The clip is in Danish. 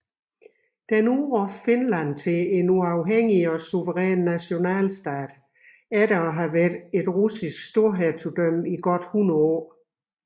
Den udråber Finland til en uafhængig og suveræn nationalstat efter at have været et russisk storhertugdømme i godt hundrede år